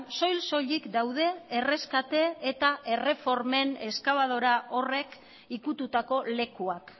soil soilik daude erreskate eta erreformen eskabadora horrek ukitutako lekuak